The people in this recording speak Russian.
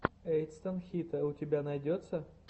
эйтсан хита у тебя найдется